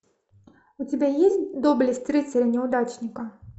у тебя есть доблесть рыцаря неудачника